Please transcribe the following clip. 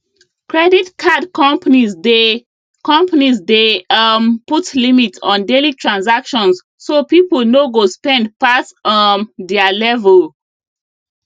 credit card companies dey companies dey um put limit on daily transactions so people no go spend pass um their level